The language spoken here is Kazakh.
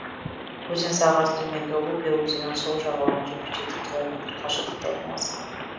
өзен сағасы төменгі лупья өзенінің сол жағалауынан жетпіс жеті километр қашықтықта орналасқан